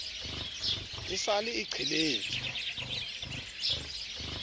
e sa le e qheletswe